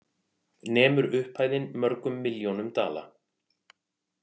Nemur upphæðin mörgum milljónum dala